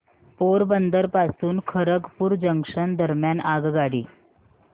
पोरबंदर पासून खरगपूर जंक्शन दरम्यान आगगाडी